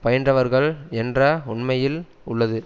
பயின்றவர்கள் என்ற உண்மையில் உள்ளது